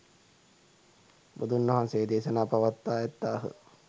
බුදුන්වහන්සේ දේශනා පවත්වා ඇත්තාහ